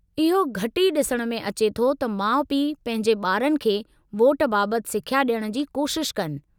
इहो घटि ई ॾिसण में अचे थो त माउ-पिउ पंहिंजे ॿारनि खे वोट बाबतु सिख्या ॾियण जी कोशिश कनि।